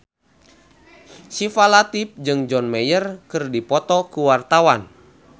Syifa Latief jeung John Mayer keur dipoto ku wartawan